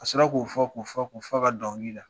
Ka sɔrɔ k'o fɔ k'o fɔ k'ɔ f'ɔ ka sɔrɔ ka dɔnkili da